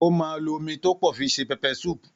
Ó máa lo omi tó pọ̀ fi se Pepper soup